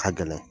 Ka gɛlɛn